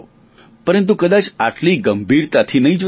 પરંતુ કદાચ આટલી ગંભીરતાથી નહીં જોતા હો